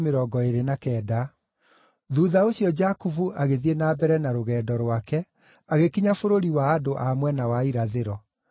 Thuutha ũcio Jakubu agĩthiĩ na mbere na rũgendo rwake, agĩkinya bũrũri wa andũ a mwena wa irathĩro.